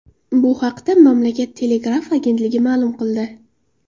Bu haqda mamlakat telegraf agentligi ma’lum qildi .